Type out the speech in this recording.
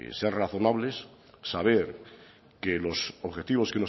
ser razonables saber que los objetivos